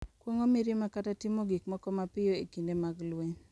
Kuong’o mirima kata timo gik moko mapiyo e kinde mag lweny